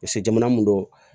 jamana mun don